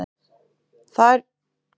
Þær mælingar hefðu ekki reynst traustar